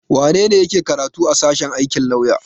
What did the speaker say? Wane ne yake karatu a sashen aikin lauya?